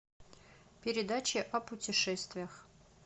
передача о путешествиях